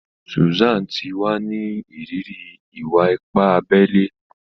Susan ti wa ni iriri iwa-ipa abé ilé.